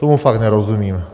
Tomu fakt nerozumím.